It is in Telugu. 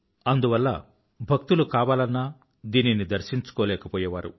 అందువల్ల భక్తులు కావాలన్నా దీనిని దర్శించుకోలేకపోయేవారు